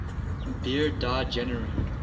beard died january